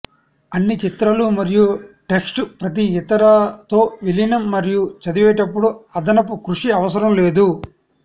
అన్ని చిత్రాలు మరియు టెక్స్ట్ ప్రతి ఇతర తో విలీనం మరియు చదివేటప్పుడు అదనపు కృషి అవసరం లేదు